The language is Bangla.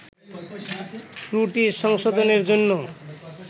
ত্রুটি সংশোধনের জন্য